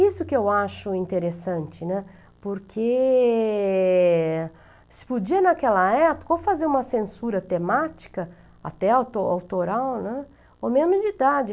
Isso que eu acho interessante, né, porque se podia, naquela época, ou fazer uma censura temática, até auto autoral, né, ou mesmo de idade.